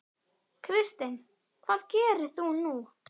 Kristinn: Hvað gerir þú nú?